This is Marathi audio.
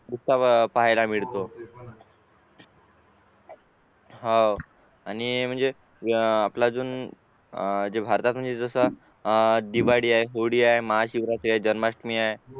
उत्साह फायलामिळतो होव आणि म्हणजे अपलाजून भारतातून जस दिवाळी आहे होळी आहे महाशिवरात्री आहे जन्माष्टमी आहे